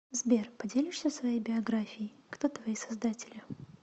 сбер поделишься своей биографией кто твои создатели